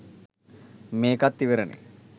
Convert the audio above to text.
මේකත් ඉවරනේ